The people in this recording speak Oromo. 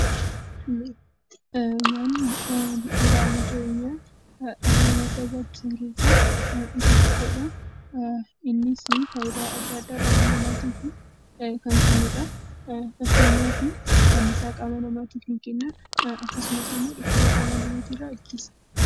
Nyaatni wantoota bu'uura jireenyaa keessaa isa ijoo fi baay'ee barbaachisaa ta'edha. Innis qaama namaa kan ijaaruu fi anniisaa qaama namaaf kan kennuuf nu fayyadudha.